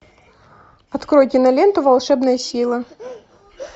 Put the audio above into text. открой киноленту волшебная сила